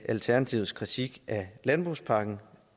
alternativets kritik af landbrugspakken